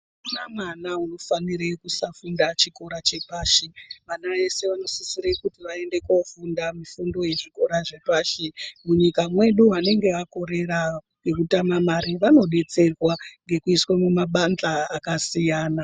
Akuna mwana unofanira kusafunda chikora chepashi vana vese vanosisire kuti vaende kofunda mifundo yezvikora zvepashi munyika medu vanenge vakorera nekutame mare vanodetserwa nekuiswa mumabadhla akasiyana.